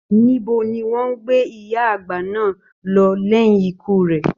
Níbo ní wọn gbé ìyá àgbà náà lọ lẹyìn ikú rẹ?